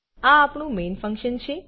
આ આપણું main function છે